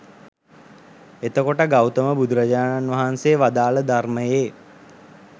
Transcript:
එතකොට ගෞතම බුදුරජාණන් වහන්සේ වදාළ ධර්මයේ